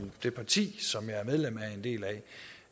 det parti som jeg er medlem af er en del